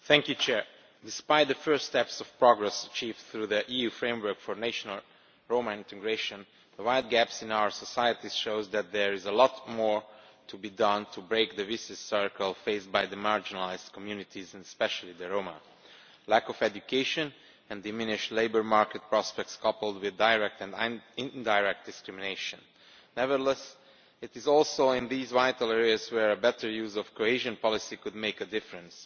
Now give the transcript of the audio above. Madam President, despite the first steps of progress achieved through the EU framework for national Roma integration, the wide gaps in our societies show that there is a lot more to be done to break the vicious circle faced by marginalised communities, especially the Roma lack of education and diminished labour market prospects coupled with direct and indirect discrimination. Nevertheless, it is also in these vital areas where a better use of cohesion policy could make a difference.